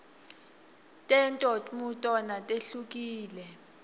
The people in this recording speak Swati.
tento tmutona tihwkile